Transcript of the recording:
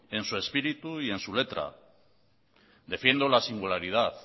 en su espíritu y en su letra defiendo la singularidad